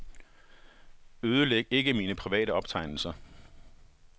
Ødelæg ikke mine private optegnelser.